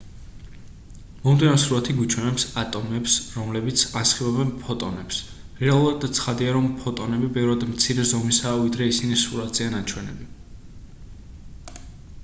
მომდევნო სურათი გვიჩვენებს ატომებს რომელიც ასხივებენ ფოტონებს რეალურად ცხადია რომ ფოტონები ბევრად მცირე ზომისაა ვიდრე ისინი სურათზეა ნაჩვენები